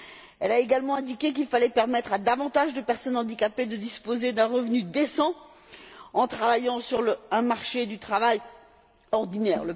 Elle a également indiqué qu'il fallait permettre à davantage de personnes handicapées de disposer d'un revenu décent en travaillant sur le marché du travail ordinaire.